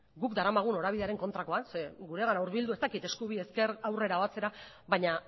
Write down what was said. guk daramagun norabidearen kontrakoa zeren guregana hurbildu ez dakit eskubi ezker aurrera o atzera baina